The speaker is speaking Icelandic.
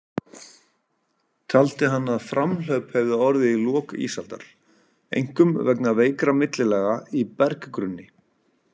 Taldi hann að framhlaup hefði orðið í lok ísaldar, einkum vegna veikra millilaga í berggrunni.